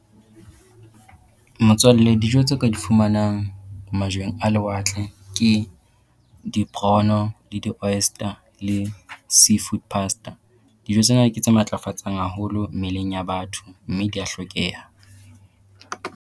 Motswalle dijo tse o ka di fumanang majweng a lewatle ke di-prawn-o le di-oyster le seafood pasta. Dijo tsena ke tse matlafatsang haholo mmeleng ya batho, mme dia hlokeha.